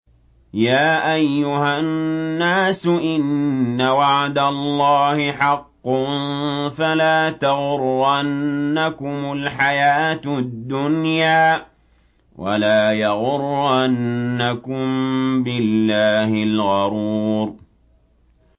يَا أَيُّهَا النَّاسُ إِنَّ وَعْدَ اللَّهِ حَقٌّ ۖ فَلَا تَغُرَّنَّكُمُ الْحَيَاةُ الدُّنْيَا ۖ وَلَا يَغُرَّنَّكُم بِاللَّهِ الْغَرُورُ